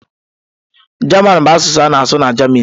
German bụ asụsụ a na-asụ na Jamanị.